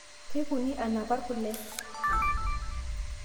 Keikuni anapar kule